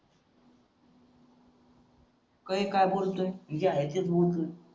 कय काय बोलतोय मी जे आहे तेच बोलतोय